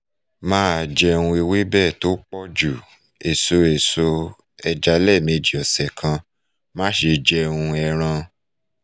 máa jẹun ewebe tó pọnjú èso èso ẹja lẹẹ́mejì ọ̀sẹ̀ kan má ṣe jẹun ẹran